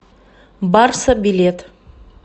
барса билет